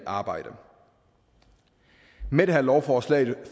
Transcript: arbejde med det her lovforslag